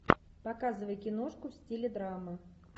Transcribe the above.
показывай киношку в стиле драмы